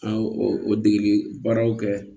An y'o o dege baaraw kɛ